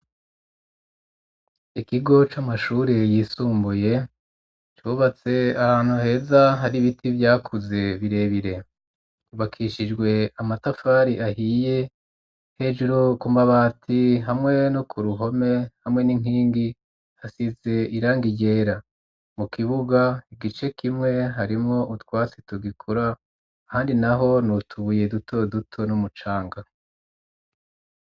ikigo c'amashure yisumbuye cubatse ahantu heza hari ibiti vyakuze birebire vyubakishijwe amatafari ahiye hejuru ku mabati hamwe no ku ruhome hamwe n'inkingi hasize irangi ryera mu kibuga igice kimwe harimwo utwatsi tugikura ahandi naho nutubuye duto duto n'umucanga.